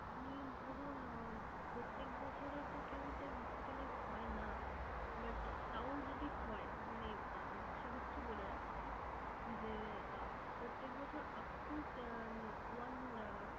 আপনি ধরুন আহ প্রত্যেক বছরে তো কেউ sir hospitalized হয় না but তাও যদি হয় মানে আহ সে ক্ষেত্রে বলে রাখছি যে আহ প্রত্যেক বছর up to one আহ